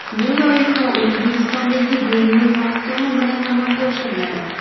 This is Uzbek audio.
Bu loyiha O‘zbekistondagi diniy mahkama bilan amalga oshiriladi.